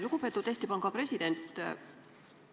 Lugupeetud Eesti Panga president!